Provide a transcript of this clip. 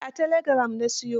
Eh a telegiram na siyo.